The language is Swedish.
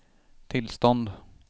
tillstånd